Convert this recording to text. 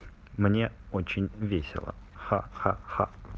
мне очень весело ха ха ха